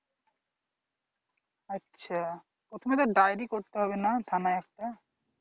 আচ্ছা, প্রথমে তো diary করতে হবে না থানায় একটা।